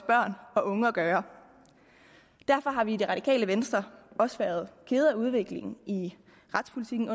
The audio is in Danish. børn og unge at gøre derfor har vi i det radikale venstre også været kede af udviklingen i retspolitikken